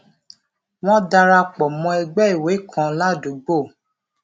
wón dara pò mó ẹgbé ìwé kan ládùúgbò